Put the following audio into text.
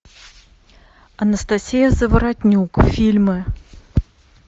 анастасия заворотнюк фильмы